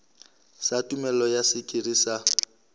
sa tumello ya sekiri sa